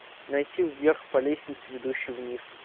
найти вверх по лестнице ведущей вниз